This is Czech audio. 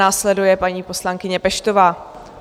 Následuje paní poslankyně Peštová.